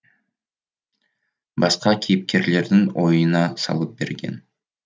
басқа кейіпкерлердің ойына салып берген